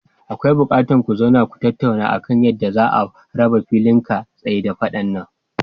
Akwai buƙatar ku zauna ku tattauna akan yadda za'a raba filin ka tsai da faɗan nan.